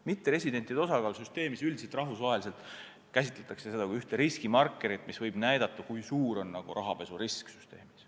Mitteresidentide osakaalu süsteemis peetakse rahvusvaheliselt üldiselt üheks riskimarkeriks, mis võib näidata, kui suur on rahapesu risk süsteemis.